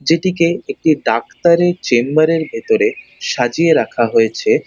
যেটিকে একটি ডাক্তার - এর চেম্বার -এর ভেতরে সাজিয়ে রাখা হয়েছে